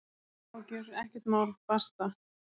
Engar áhyggjur, ekkert mál, basta!